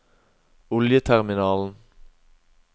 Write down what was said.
oljeterminalen